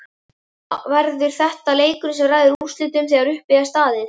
Verður þetta leikurinn sem ræður úrslitum þegar uppi er staðið?